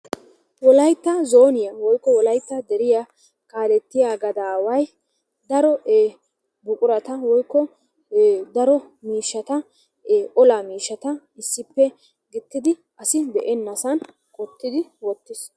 Wolaytta zooniya woykko wolaytta deriya kaalettiya gadaaway daro buqurata woykko daro miishshata olaa miishshata issippe gixxidi asi be'ennasan qottidi wottis.